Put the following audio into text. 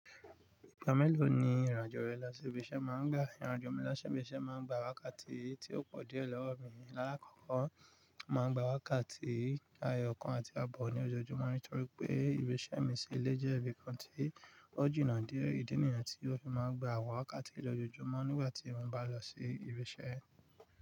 Ìgbà mélòó ni ìrìn àjò rẹ lọ sí ibi iṣẹ́ máa ń gbà? Ìrìn àjò mi lo si ibi iṣẹ́ máa ń gba wákàtí tí ò pọ̀ díẹ̀ lọ́wọ́ mi. Láàkọ́kọ́ máa ń gba wákàtí eyọ̀ kan àti àbọ̀ ní ojoojúmọ́ nítorí pé ibi iṣẹ́ mi sí ilé jẹ́ ibi kan tí ó jìnnà díẹ. Ìdí nìyẹn tí ó fi máa ń gba àwọn wákàtí lọjoojúmọ́ nígbà tí mo bá n lọ sí ibi iṣẹ́.